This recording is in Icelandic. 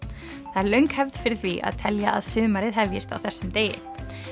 það er löng hefð fyrir því að telja að sumarið hefjist á þessum degi